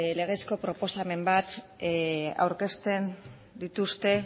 legezko proposamen bat aurkezten dituzte